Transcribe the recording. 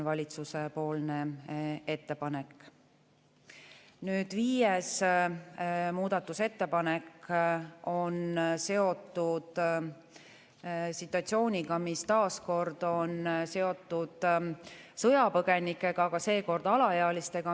Viies muudatusettepanek on seotud situatsiooniga, mis taas on seotud sõjapõgenikega, aga seekord alaealistega.